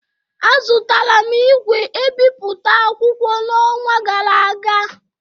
Azụtaram ìgwè ebipụta akwụkwọ na-onwa gara aga.